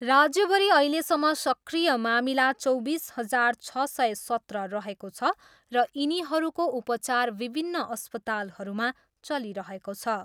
राज्यभरि अहिलेसम्म सक्रिय मामिला चौबिस हजार छ सय सत्र रहेको छ र यिनीहरूको उपचार विभिन्न अस्पतालहरूमा चलिरहेको छ।